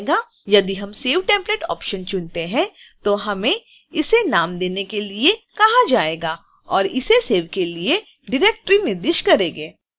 यदि हम save template option चुनते हैं तो हमें इसे नाम देने के लिए कहा जाएगा और इसे सेव के लिए डाइरेक्टरी निर्दिष्ट करेंगे